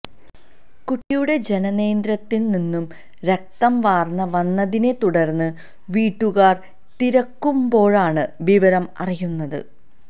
കുട്ടിയുടെ ജനനേന്ദ്രിയത്തില് നിന്ന് രക്തം വാര്ന്ന് വന്നതിനെ തുടര്ന്ന് വീട്ടുകാര് തിരക്കുമ്ബോഴാണ് വിവരം അറിയുന്നത്